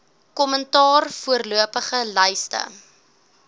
kommentaar voorlopige lyste